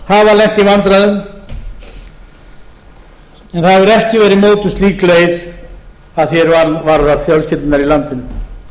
hafa lent í vandræðum en það hefur ekki veri mótuð slík leið að því er varðar fjölskyldurnar í landinu